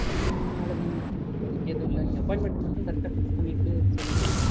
உம் அவ்ளோதா mam. இப்போதைக்கு எதுவும் இல்ல. நீங்க appointment மட்டும் correct ஆ fix பண்ணிட்டு சொல்லுங்க